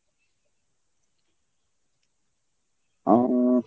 অঃ